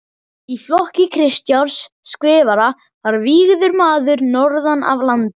Í flokki Kristjáns Skrifara var vígður maður norðan af landi.